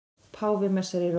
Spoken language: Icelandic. Páfi messar í Róm